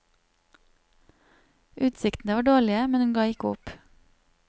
Utsiktene var dårlige, men hun ga ikke opp.